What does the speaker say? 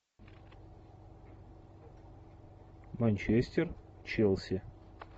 манчестер челси